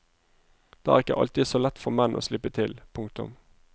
Det er ikke alltid så lett for menn å slippe til. punktum